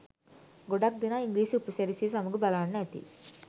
ගොඩක් දෙනා ඉංග්‍රීසි උපසිරැසිය සමග බලන්න ඇති.